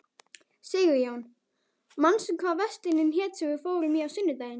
Sigurjón, manstu hvað verslunin hét sem við fórum í á sunnudaginn?